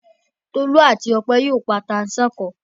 Tolú àti Ọpẹ́ yóò pa tata-n-sánkọ.